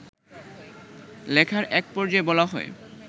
লেখার এক পর্যায়ে বলা হয়